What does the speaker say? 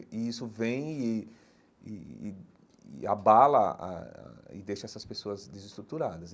E e isso vem e e e e abala a e deixa essas pessoas desestruturadas.